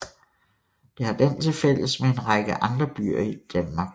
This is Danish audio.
Det har den til fælles med en række andre byer i Danmark